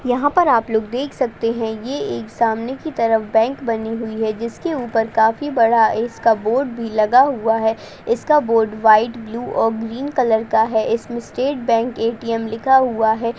यहाँ पर आप लोग देख सकते हैं यह एक सामने की ओर बैंक बनी हुई है जिसके ऊपर काफी बड़ा इसका बोर्ड भी लगा हुआ है इसका बोर्ड वाइट ब्लू और ग्रीन कलर का है इसमें स्टेट बैंक ए.टी.एम. लिखा हुआ है।